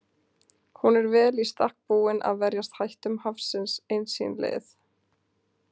Hún er vel í stakk búin að verjast hættum hafsins eins síns liðs.